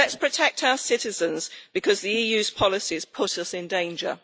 Let us protect our citizens, because the EU's policies put us in danger.